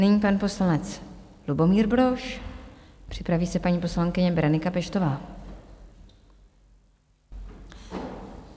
Nyní pan poslanec Lubomír Brož, připraví se paní poslankyně Berenika Peštová?